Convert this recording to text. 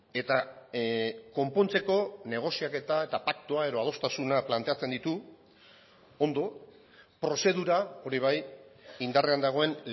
eta konpontzeko negoziaketa eta paktua edo adostasuna planteatzen ditu ondo prozedura hori bai indarrean dagoen